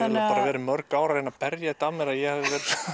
mörg ár að reyna að berja þetta af mér að ég hafi